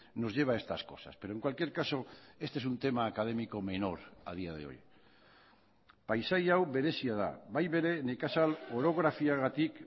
nos lleva a estas cosas pero en cualquier caso este es un tema académico menor a día de hoy paisai hau berezia da bai bere nekazal orografiagatik